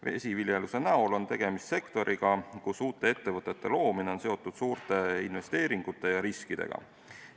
Vesiviljelus on sektor, kus uute ettevõtete loomine on seotud suurte investeeringute ja riskidega.